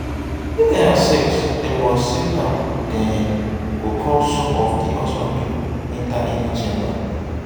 if dem accept dem accept am dem go call some of di husband pipol enter inner chamber